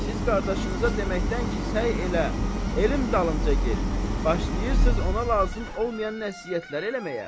Siz qardaşınıza deməkdən ki, səy elə, elm dalınca get, başlayırsız ona lazım olmayan nəsihətlər eləməyə.